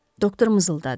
Doktor mızıldadı.